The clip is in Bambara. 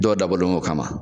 Dɔw dabɔlen don o kama.